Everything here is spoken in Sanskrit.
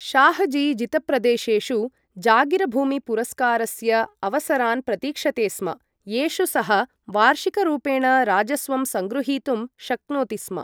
शाहजी जितप्रदेशेषु जागीरभूमिपुरस्कारस्य अवसरान् प्रतीक्षते स्म, येषु सः वार्षिकरूपेण राजस्वं सङ्ग्गृहीतुं शक्नोति स्म।